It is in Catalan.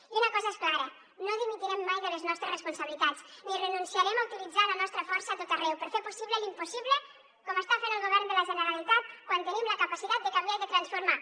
i una cosa és clara no dimitirem mai de les nostres responsabilitats ni renunciarem a utilitzar la nostra força a tot arreu per fer possible l’impossible com està fent el govern de la generalitat quan tenim la capacitat de canviar i de transformar